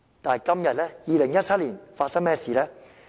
然而，來到2017年，發生甚麼事呢？